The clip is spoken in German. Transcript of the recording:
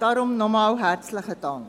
Darum noch einmal, herzlichen Dank.